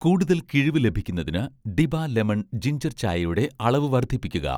കൂടുതൽ കിഴിവ് ലഭിക്കുന്നതിന് 'ഡിബ' ലെമൺ ജിൻജർചായയുടെ അളവ് വർദ്ധിപ്പിക്കുക